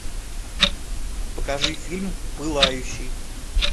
покажи фильм пылающий